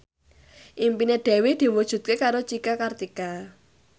impine Dewi diwujudke karo Cika Kartika